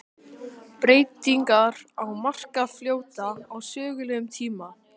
Breytingar á Markarfljóti á sögulegum tíma.